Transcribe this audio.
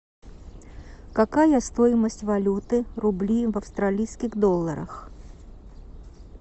какая стоимость валюты рубли в австралийских долларах